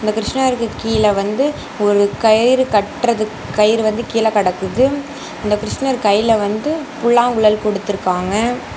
இந்த கிருஷ்ணருக்கு கீழ வந்து ஒரு கயிறு கற்றதுக் கயிறு வந்து கீழ கெடக்குது அந்த கிருஷ்ணர் கைல வந்து புல்லாங்குழல் குடுத்துருக்காங்க.